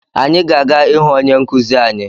Anyị ga-aga ịhụ onye nkuzi anyi